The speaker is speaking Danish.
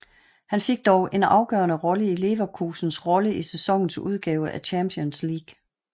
Han fik dog en afgørende rolle i Leverkusens rolle i sæsonens udgave af Champions League